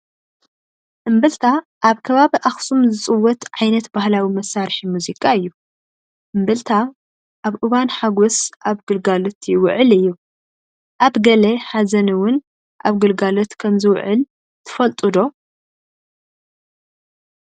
እምብልታ ኣብ ከባቢ ኣኽሱም ዝፅወት ዓይነት ባህላዊ መሳርሒ ሙዚቃ እዩ፡፡ እምብልታ ኣብ እዋን ሓጐስ ኣብ ግልጋሎት ይውዕል እዩ፡፡ ኣብ ገለ ሓዘን እውን ኣብ ግልጋሎት ከምዝውዕል ትፈልጡ ዶ?